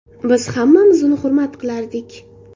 Biz hammamiz uni hurmat qilardik.